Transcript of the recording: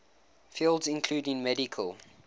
fields including medical